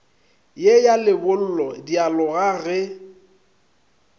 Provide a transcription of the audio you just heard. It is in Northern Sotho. ye ya lebollo dialoga ge